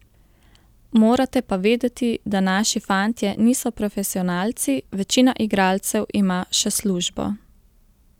Morate pa vedeti, da naši fantje niso profesionalci, večina igralcev ima še službo.